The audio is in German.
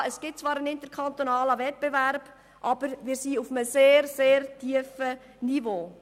Ja, es gibt zwar einen interkantonalen Wettbewerb, aber wir befinden uns auf einem sehr tiefen Niveau.